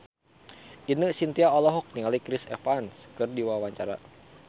Ine Shintya olohok ningali Chris Evans keur diwawancara